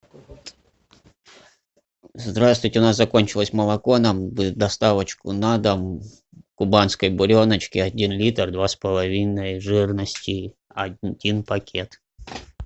здравствуйте у нас закончилось молоко нам бы доставочку на дом кубанской буреночки один литр два с половиной жирности один пакет